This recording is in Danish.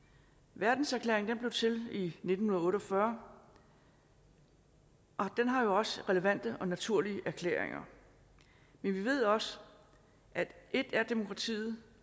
verdenserklæringen blev til i nitten otte og fyrre og den har jo også relevante naturlige erklæringer men vi ved også at ét er demokratiet